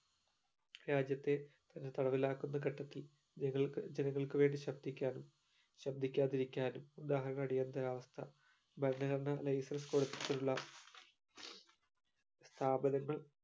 രാജ്യത്തെ തന്നെ തടവിലാക്കുന്ന ഘട്ടത്തിൽ നങ്ങൾക് ജനങ്ങൾക്ക് വേണ്ടി ശബ്‌ദിക്കാനും ശബ്‌ദിക്കാതിരിക്കാനും ഉദാഹരണം അടിയന്തരാവസ്ഥ ഭരണഘടനാ licence കൊടുത്തിട്ടുള്ള സ്ഥാപനങ്ങൾ